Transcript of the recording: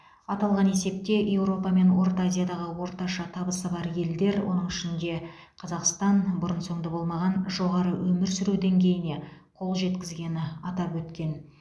аталған есепте еуропа мен орта азиядағы орташа табысы бар елдер оның ішінде қазақстан бұрын соңды болмаған жоғары өмір сүру деңгейіне қол жеткізгені атап өткен